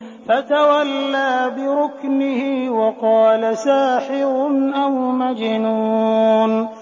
فَتَوَلَّىٰ بِرُكْنِهِ وَقَالَ سَاحِرٌ أَوْ مَجْنُونٌ